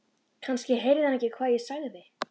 Kannski heyrði hann ekki hvað ég sagði.